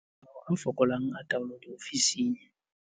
Matshwao a fokolang a taolo diofising.